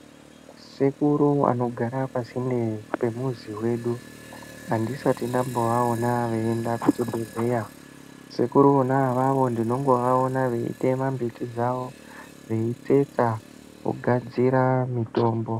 Sekuru anogara pasinde pemuzi pedu andisati ndamboaona achienda kuzvibhehlera. Sekuru vona avavo ndinongovaona eitora mbiti dzavo veitsetsa vogadzira mitombo